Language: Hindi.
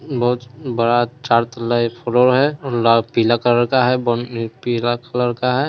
बहुत बड़ा चारों तरफ रोड है और पीला कलर का है पीला कलर का है।